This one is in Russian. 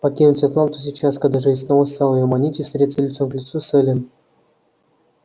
покинуть атланту сейчас когда жизнь снова стала её манить и встретиться лицом к лицу с эллин